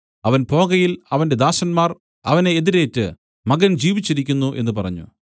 അവൻ പോകയിൽ അവന്റെ ദാസന്മാർ അവനെ എതിരേറ്റു മകൻ ജീവിച്ചിരിക്കുന്നു എന്നു പറഞ്ഞു